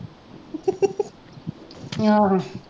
ਆਹੋ